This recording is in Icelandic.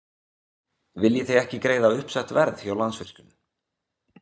Viljið þið ekki greiða uppsett verð hjá Landsvirkjun?